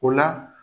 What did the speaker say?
O la